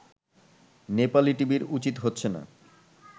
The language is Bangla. নেপালি টিভির উচিত হচ্ছে না